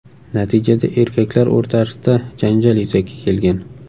Natijada erkaklar o‘rtasida janjal yuzaga kelgan.